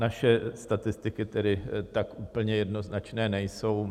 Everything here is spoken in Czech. Naše statistiky tedy tak úplně jednoznačné nejsou.